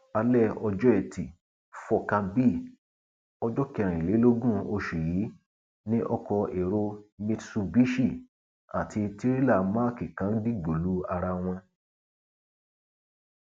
alẹ ọjọ etí furcabee ọjọ kẹrìnlélógún oṣù yìí ni ọkọ èrò mitsubishi àti tirẹlá mack kan dìgbò lu ara wọn